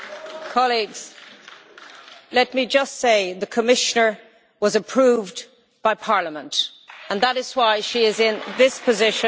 Colleagues, let me just say that the Commissioner was approved by Parliament and that is why she is in this position.